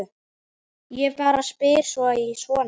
Ég bara spyr sí svona.